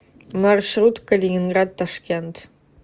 маршрут калининград ташкент